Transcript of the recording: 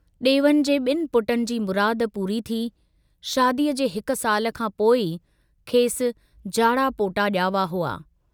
डेवन जे ब॒नि पुटनि जी मुराद पूरी थी, शादीअ जे हिक साल खां पोइ ई खेसि जाड़ा पोटा जावा हुआ।